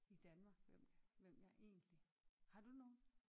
I Danmark hvem hvem jeg egentlig har du nogen?